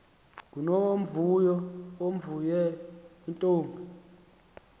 ngunomvuyo omvuyo yintombi